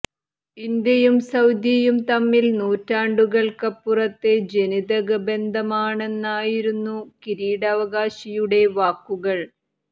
ഇന്ത്യയും സൌദിയും തമ്മിൽ നൂറ്റാണ്ടുകൾക്കപ്പുറത്തെ ജനിതക ബന്ധമാണെന്നായിരുന്നു കിരീടാവകാശിയുടെ വാക്കുകൾ